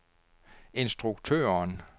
instruktøren